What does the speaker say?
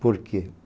Por quê?